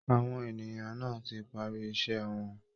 Àwọn ènìyàn náà ti parí iṣẹ́ wọn